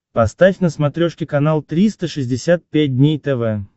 поставь на смотрешке канал триста шестьдесят пять дней тв